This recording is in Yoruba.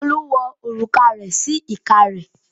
Olú wo òrùka rẹ̀ sí ìka rẹ̀.